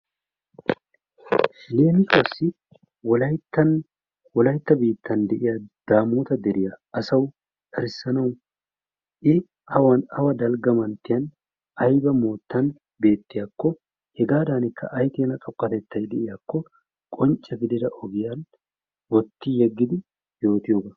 Leemisuwassi Wolayttan Wolaytta biittan de'iya Daamoota deriya I awan awa dalgga manttiyaa ayba moottan beettiyakko hegaadaanikka ay keena xoqqatettay de'iyakko qoncce gidida ogiyan wotti yeggidi yootiyogaa.